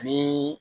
Ni